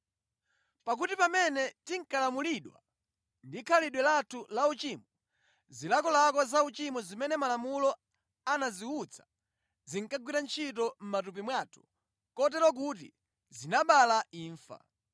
Pakuti pamene tinkalamulidwa ndi khalidwe lathu lauchimo, zilakolako zauchimo zimene Malamulo anaziwutsa zinkagwira ntchito mʼmatupi mwathu kotero kuti zinabala imfa.